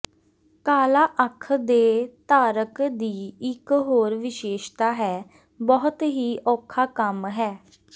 ਕਾਲਾ ਅੱਖ ਦੇ ਧਾਰਕ ਦੀ ਇਕ ਹੋਰ ਵਿਸ਼ੇਸ਼ਤਾ ਹੈ ਬਹੁਤ ਹੀ ਔਖਾ ਕੰਮ ਹੈ